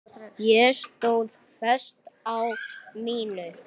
Ég stóð föst á mínu.